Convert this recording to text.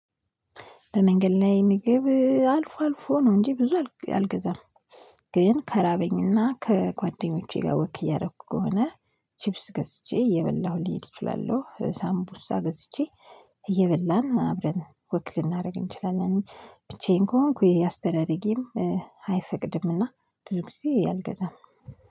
በመንገድ ላይ ምግብ አልፎ አልፎ ነው እንጂ ብዙ አልገዛም። ግን ከራበኝና ከጓደኞቼ ጋር ወክ እያደረኩ ከሆነ ቺፕስ ገዝቼ እየበላሁ ሊሄድ እችላለሁ። ሳምቡሳ ገዝቼ እየበላን አብረን ወክ ልናደርግ እንችላለን። ብቻዬን ከሆንኩ አስተዳደጌም አይፈቅድምና ብዙ ጊዜ አልገዛም።